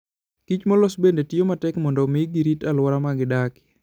Kich molos bende tiyo matek mondo omi girit alwora ma gidakie.